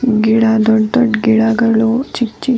ಗಿಡ ದೊಡ್ಡ್ ದೊಡ್ಡ್ ಗಿಡಗಳು ಚಿಕ್ಕ್ ಚಿಕ್ಕ್ --